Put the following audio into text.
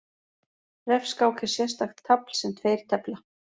Refskák er sérstakt tafl sem tveir tefla.